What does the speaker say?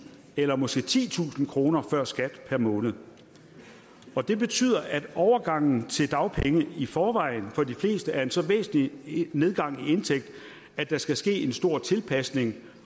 eller måske titusind kroner før skat per måned det betyder at overgangen til dagpenge i forvejen for de fleste er en så væsentlig nedgang i indtægt at der skal ske en stor tilpasning